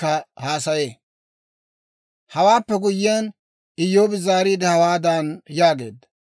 Hewaappe guyyiyaan, Iyyoobi zaariide, hawaadan yaageedda;